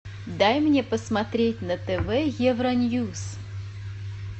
дай мне посмотреть на тв евроньюс